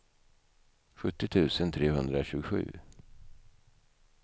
sjuttio tusen trehundratjugosju